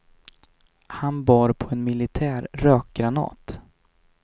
Han bar på en militär rökgranat.